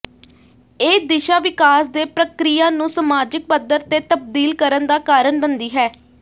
ਇਹ ਦਿਸ਼ਾ ਵਿਕਾਸ ਦੇ ਪ੍ਰਕ੍ਰਿਆ ਨੂੰ ਸਮਾਜਿਕ ਪੱਧਰ ਤੇ ਤਬਦੀਲ ਕਰਨ ਦਾ ਕਾਰਨ ਬਣਦੀ ਹੈ